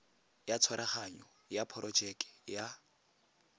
ya tshwaraganyo ya porojeke ya